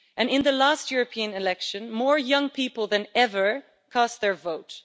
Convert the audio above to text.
In the last European elections, more young people than ever cast their vote.